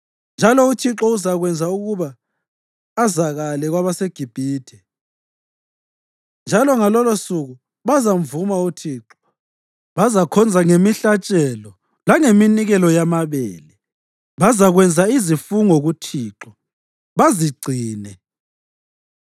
Kanjalo uThixo uzakwenza ukuba azakale kwabaseGibhithe, njalo ngalolosuku bazamvuma uThixo. Bazakhonza ngemihlatshelo langeminikelo yamabele; bazakwenza izifungo kuThixo, bazigcine.